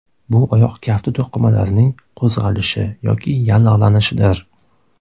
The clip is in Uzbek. Bu oyoq kafti to‘qimalarining qo‘zg‘alishi yoki yallig‘lanishidir.